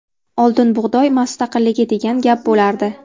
Oldin bug‘doy mustaqilligi degan gap bo‘lardi.